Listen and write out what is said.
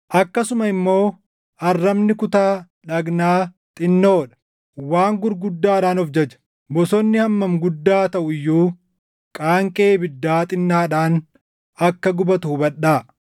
Akkasuma immoo arrabni kutaa dhagnaa xinnoo dha; waan gurguddaadhaan of jaja. Bosonni hammam guddaa taʼu iyyuu qaanqee ibiddaa xinnaadhaan akka gubatu hubadhaa.